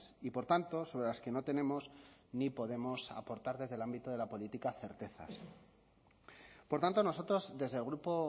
y por tanto sobre las que no tenemos ni podemos aportar desde el ámbito de la política certezas por tanto nosotros desde el grupo